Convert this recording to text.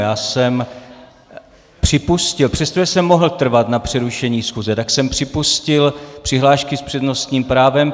Já jsem připustil, přestože jsem mohl trvat na přerušení schůze, tak jsem připustil přihlášky s přednostním právem.